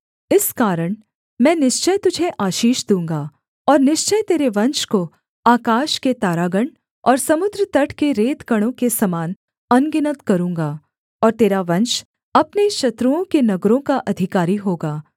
इस कारण मैं निश्चय तुझे आशीष दूँगा और निश्चय तेरे वंश को आकाश के तारागण और समुद्र तट के रेतकणों के समान अनगिनत करूँगा और तेरा वंश अपने शत्रुओं के नगरों का अधिकारी होगा